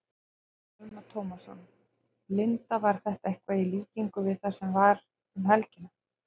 Telma Tómasson: Linda, var þetta eitthvað í líkingu við það sem var um helgina?